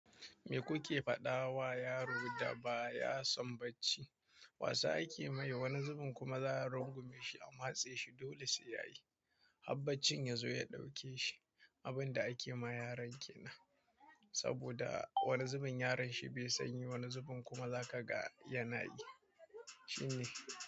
Me kuke faɗawa yaro da ba ya son bacci? Wasa ake mai, wani zubin kuma za a rungume shi a matse shi dole sai ya yi. Har baccin yazo ya ɗauke shi abin da ake ma yaran kenan, saboda wani zubin yaron shi bai son yi, wani zubin kuma zaka ga yana yi, shine.